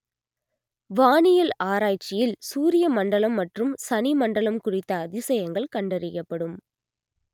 வானியல் ஆராய்ச்சியில் சூரிய மண்டலம் மற்றும் சனிமண்டலம் குறித்த அதிசயங்கள் கண்டறியப்படும்